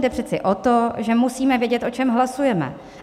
Jde přece o to, že musíme vědět, o čem hlasujeme.